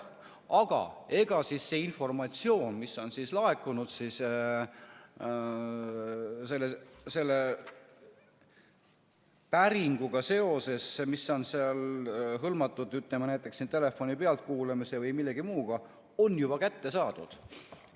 Aga ega siis see informatsioon, mis on laekunud päringuga seoses, mis on seal hõlmatud, ütleme, näiteks telefoni pealtkuulamise või millegi muuga, on juba kätte saadud.